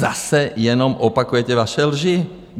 Zase jenom opakujete vaše lži.